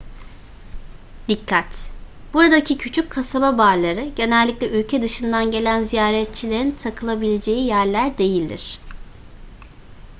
dikkat buradaki küçük kasaba barları genellikle ülke dışından gelen ziyaretçilerin takılabileceği yerler değildir